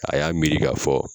A y'a miiri k'a fɔ